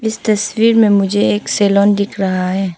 इस तस्वीर में मुझे एक सैलोन दिख रहा है।